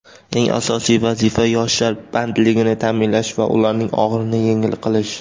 Eng asosiy vazifa yoshlar bandligini ta’minlash va ularning og‘irini yengil qilish.